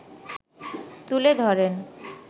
তুলে ধরেন